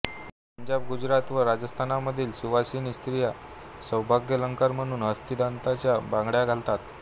पंजाब गुजरात व राजस्थानमधील सुवासिनी स्त्रिया सौभाग्यालंकार म्हणून हस्तिदंताच्या बांगड्या घालतात